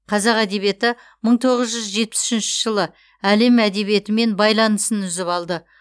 қазақ әдебиеті мың тоғыз жүз жетпіс үшінші жылы әлем әдебиетімен байланысын үзіп алды